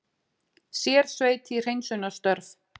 Sérsveit í hreinsunarstörf